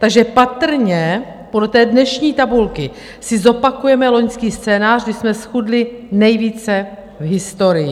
Takže patrně podle té dnešní tabulky si zopakujeme loňský scénář, kdy jsme zchudli nejvíce v historii.